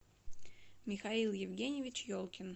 михаил евгеньевич елкин